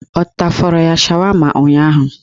Ọ tafọrọ ya shawama ụnyaahụ?